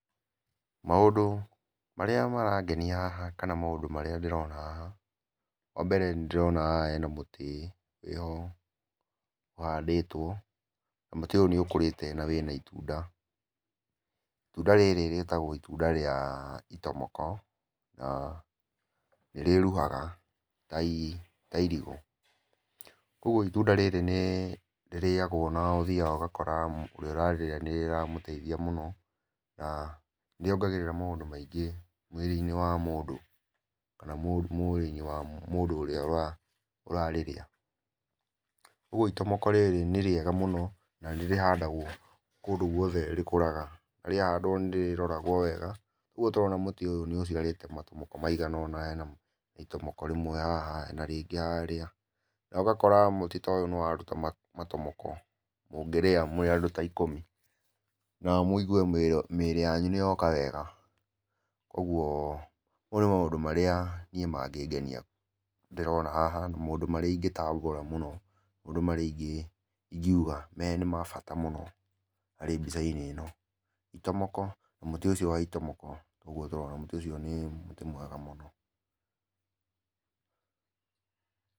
Maũndũ, marĩa marangenia haha kana maũndũ marĩa ndĩrona haha, wa mbere nĩ ndĩrona haha hena mũtĩ, wĩho, ũhandĩtwo, na mũtĩ ũyũ n ĩũkĩrĩte na wĩna itunda. Itunda rĩrĩ rĩtagũo itunda rĩa, itomoko, na, nĩ rĩruhaga ta, ta irigũ. Ũguo itunda rĩrĩ nĩ rĩrĩagũo na ũthiaga ũgakora ũrĩa ũrarĩa nĩ rĩramũteithia mũno, na nĩ ongagĩrĩra mũndũ maũndũ maingĩ mwĩrĩ-inĩ wa mũndũ. Kana mũrĩi wa mũndũ ũrĩa ũrarĩrĩa. Ũguo itomoko rĩrĩ nĩ rĩega mũno, na nĩ rĩhandagũo, kũndũ guothe rĩkũraga. Rĩahandũo nĩ rĩrogao wega. Ũguo tũrona mũtĩ ũyũ ũciarĩte matomoko maigana ũna, hena itomoko rĩmwe haha, hena rĩngĩ harĩa. Na ũgakora mũtĩ ta ũyũ nĩ waruta matomoko mũngĩrĩa mũrĩ andũ ta ikũmi, na mũigue mĩĩrĩ yanyu nĩ yoka wega. Kũguo mau nĩmo maũndũ marĩa niĩ mangĩngenia ndĩrona haha, na maũndũ marĩa ingĩtambũra mũno. Maũndũ marĩa ingiuga me nĩ ma bata mũno harĩ mbica-inĩ ĩno. Itomoko, mũtĩ ũcio wa itomo ũguo tũrona, mũtĩ ũcio nĩ mũtĩ mwega mũno.